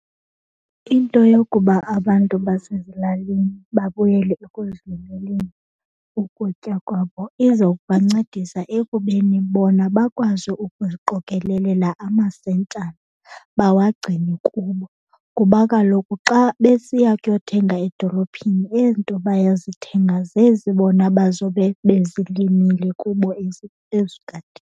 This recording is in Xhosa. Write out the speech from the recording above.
Into yokuba abantu basezilalini babuyele ekuzilimeleni ukutya kwabo izokubancedisa ekubeni bona bakwazi ukuziqokelelela amasentshana bawagcine kubo. Kuba kaloku xa besiya kuyothenga edolophini ezi nto bayozithenga zezi bona bazobe bezilimile kubo ezigadini.